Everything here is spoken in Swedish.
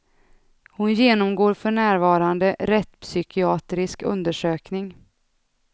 Hon genomgår för närvarande rättspsykiatrisk undersökning.